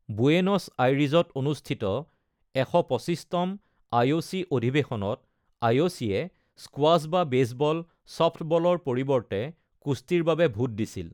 Buenos আইৰিজত অনুষ্ঠিত ১২৫তম আইঅ'চি অধিৱেশনত, আইঅ'চি-এ স্কোৱাশ্ব বা বেছবল/চফ্টবলৰ পৰিৱৰ্তে কুস্তিৰ বাবে ভোট দিছিল।